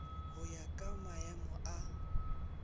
go ya ka maemo a